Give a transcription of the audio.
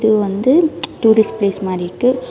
இது வந்து tourist place மாரி இருக்கு.